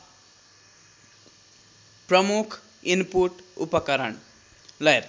प्रमुख इनपुट उपकरण